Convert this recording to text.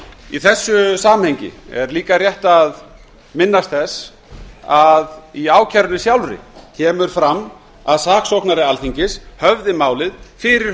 í þessu samhengi er líka rétt að minnast þess að í ákærunni sjálfri kemur fram að saksóknari alþingis höfði málið fyrir